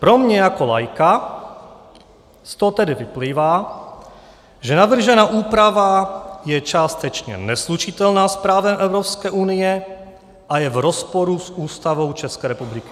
Pro mě jako laika z toho tedy vyplývá, že navržená úprava je částečně neslučitelná s právem Evropské unie a je v rozporu s Ústavou České republiky.